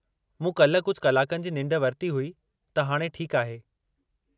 मूं काल्ह कुझु कलाकनि जी निंढ वरिती हुई, त हाणे ठीकु आहे।